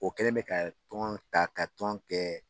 O kɛlen bɛ ka tɔn ta, ka tɔn kɛ